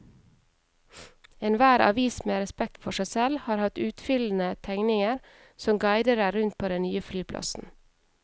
Enhver avis med respekt for seg selv har hatt utfyllende tegninger som guider deg rundt på den nye flyplassen.